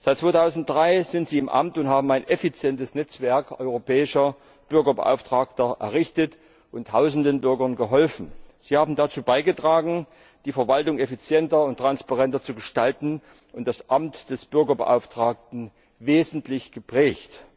Seit 2003 sind Sie im Amt und haben ein effizientes Netzwerk europäischer Bürgerbeauftragter errichtet und tausenden Bürgern geholfen. Sie haben dazu beigetragen, die Verwaltung effizienter und transparenter zu gestalten und das Amt des Bürgerbeauftragten wesentlich geprägt.